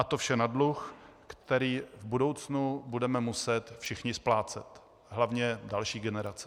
A to vše na dluh, který v budoucnu budeme muset všichni splácet, hlavně další generace.